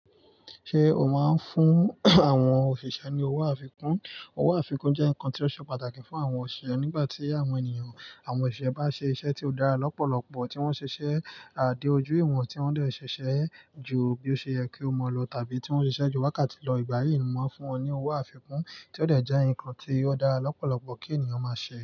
Ṣé o máa ń fún àwọn òṣìṣẹ́ ní owó àfikún? Owó àfikún jẹ́ nǹkan tí ó ṣe pàtàkì fún àwọn òṣìṣẹ́ nígbà tí àwọn ènìyàn, àwọn òṣìṣẹ́ bá ṣe iṣẹ́ tí ó dára lọ́pọ̀lọpọ̀, tí wọ́n ṣe iṣẹ́ à dé ojú ìwọ̀n, tí wọ́n dẹ̀ ṣẹ̀ṣẹ̀ ju bí ó ṣe yẹ kí ó máa lọ, tàbí tí wọ́n ṣe iṣẹ́ ju wákàtí lọ, ìgbà yíì, mo máa ń fún wọn ní owó àfikún tí ó dẹ̀ jẹ́ ǹkan tí ó dára lọ́pọ̀lọpọ̀ kí ènìyàn máa ṣe.